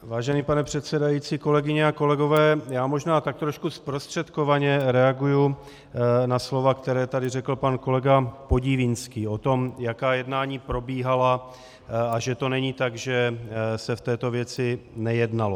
Vážený pane předsedající, kolegyně a kolegové, já možná tak trošku zprostředkovaně reaguji na slova, která tady řekl pan kolega Podivínský o tom, jaká jednání probíhala a že to není tak, že se v této věci nejednalo.